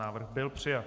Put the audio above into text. Návrh byl přijat.